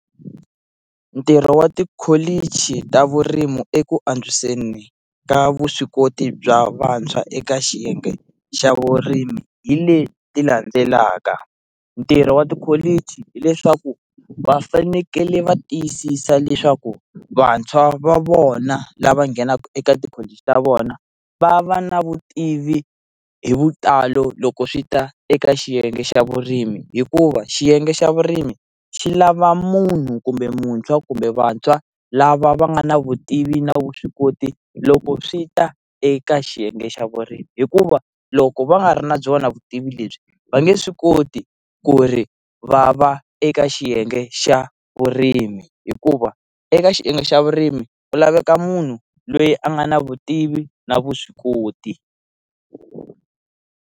Ntirho wa tikholichi ta vurimi eku antswiseni ka vuswikoti bya vantshwa eka xiyenge xa vurimi hi leti landzelaka, ntirho wa tikholichi hileswaku va fanekele va tiyisisa leswaku vantshwa va vona lava nghenaka eka tikholiji ta vona va va na vutivi hi vutalo loko swi ta eka xiyenge xa vurimi hikuva xiyenge xa vurimi xi lava munhu kumbe muntshwa kumbe vantshwa lava va nga na vutivi na vuswikoti loko swi ta eka xiyenge xa vurimi hikuva loko va nga ri na byona vutivi lebyi va nge swi koti ku ri va va eka xiyenge xa vurimi hikuva eka xiyenge xa vurimi ku laveka munhu loyi a nga na vutivi na vuswikoti.